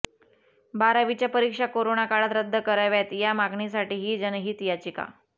बारावीच्या परीक्षा करोना काळात रद्द कराव्यात या मागणीसाठी ही जनहित याचिका